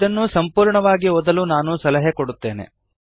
ಇದನ್ನು ಸಂಪೂರ್ಣವಾಗಿ ಓದಲು ನಾನು ಸಲಹೆ ಕೊಡುತ್ತೇನೆ